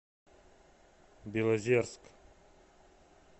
белозерск